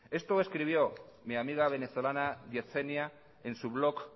esto escribió mi amiga venezolana yedzenia en su blog